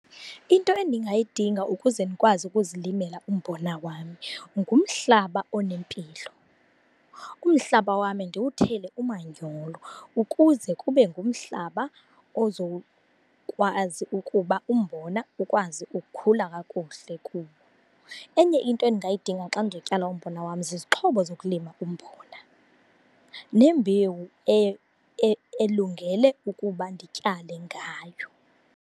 Into endingayidinga ukuze ndikwazi ukuzilimela umbona wam ngumhlaba onempilo. Umhlaba wam ndiwuthele umanyolo ukuze kube ngumhlaba ozokwazi ukuba umbona ukwazi ukukhula kakuhle kuwo. Enye into endingayidinga xa ndizotyala umbona wam zizixhobo zokulima umbona, nembewu elungele ukuba ndityale ngayo.